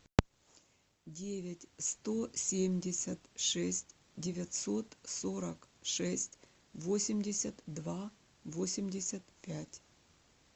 девять сто семьдесят шесть девятьсот сорок шесть восемьдесят два восемьдесят пять